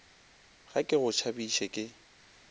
ga ke go tšhabiše ke